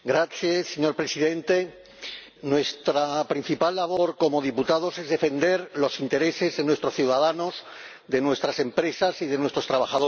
Señor Presidente, nuestra principal labor como diputados es defender los intereses de nuestros ciudadanos, de nuestras empresas y de nuestros trabajadores.